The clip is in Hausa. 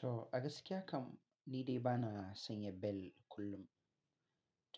To, gaskiya kam ni dai bana sanya bel kullum.